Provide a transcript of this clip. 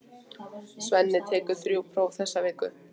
Svenni tekur þrjú próf þessa viku.